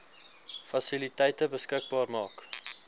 fasiliteite beskikbaar maak